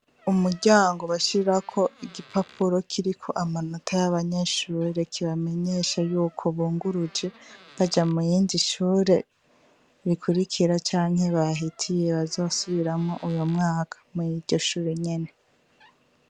Umuryango bashirako igipapuro kiriko amanota yabanyeshure kibamenyesha yuko bungurujwe baja murindi shure rikwirikira canke bahitiye bazosubiramwo uyo mwaka muriryo shure nyene.